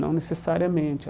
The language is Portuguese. Não necessariamente.